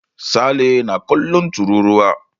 Sale na kallon tururuwa.